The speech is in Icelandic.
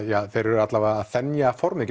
þeir eru að þenja formið